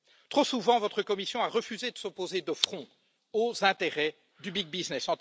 Trop souvent, votre Commission a refusé de s'opposer de front aux intérêts du Big Business